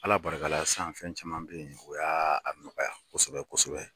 Ala barika sisan fɛn caman bɛ yen o y'a nɔgɔya kosɛbɛ kosɛbɛ